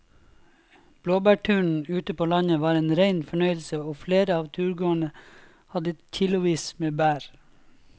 Blåbærturen ute på landet var en rein fornøyelse og flere av turgåerene hadde kilosvis med bær.